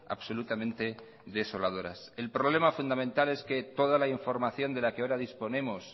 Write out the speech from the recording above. absolutamente desoladoras el problema fundamental es que toda la información de la que ahora disponemos